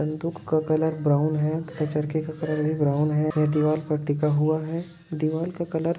बंदूक का colour brown है ता चरखे का कलर भी ब्राउन है वह दीवाल पर टिका हुआ है दीवाल का कलर --